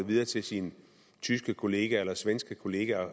videre til sin tyske kollega eller svenske kollega